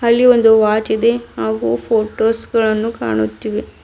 ಚಿತ್ರದಲ್ಲಿ ಒಂದು ವಾಚ್ ಇದೆ ಹಾಗೂ ಫೋಟೋಸ್ ಗಳನ್ನು ಕಾಣುತ್ತಿವೆ.